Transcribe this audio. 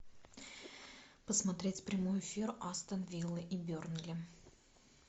посмотреть прямой эфир астон виллы и бернли